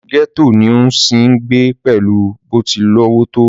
gẹ́tò ni ó ń sì ń gbé pẹ̀lú bó ti lówó tó